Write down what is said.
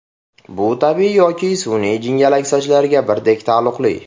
Bu tabiiy yoki sun’iy jingalak sochlarga birdek taalluqli.